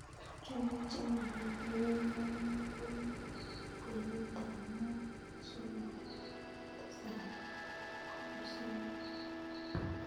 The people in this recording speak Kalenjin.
Chumbik che mag'atin eng' ng'ung'unyek ko mii kwenut ab 5.3-7.3